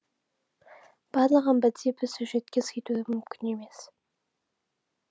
барлығын бірдей бір сюжетке сыйдыру мүмкін емес